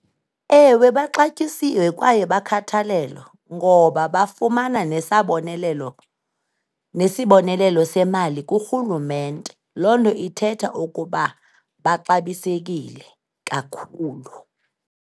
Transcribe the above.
Ewe, baxatyisiwe kwaye bakhathalelo ngoba bafumana nesabonelelo, nesibonelelo semali kurhulumente. Loo nto ithetha ukuba baxabisekile kakhulu.